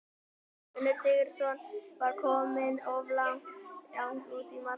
Gunnar Sigurðsson var kominn of langt út úr markinu.